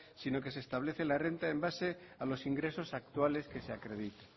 sino que se establece la renta en base a los ingresos actuales que se acreditan